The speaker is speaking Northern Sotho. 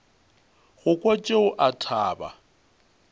go kwa tšeo a thaba